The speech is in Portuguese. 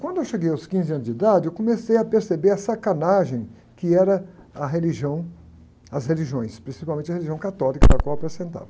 Quando eu cheguei aos quinze anos de idade, eu comecei a perceber a sacanagem que era a religião, as religiões, principalmente a religião católica, da qual eu.